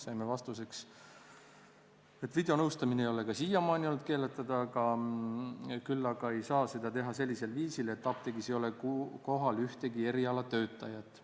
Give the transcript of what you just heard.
Saime vastuseks, et videonõustamine ei ole ka siiamaani olnud keelatud, aga seda ei saa teha sellisel viisil, et apteegis ei ole kohal ühtegi erialatöötajat.